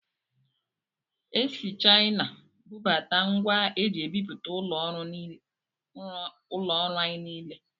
Esi Chaịna bubata ngwa eji ebipụta ụlọ ọrụ anyị niile.